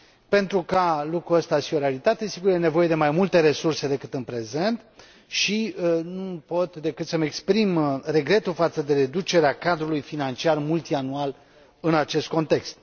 Pentru ca lucrul acesta să fie o realitate, sigur, e nevoie de mai multe resurse decât în prezent și nu pot decât să îmi exprim regretul față de reducerea cadrului financiar multianual în acest context.